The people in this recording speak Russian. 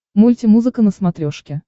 мульти музыка на смотрешке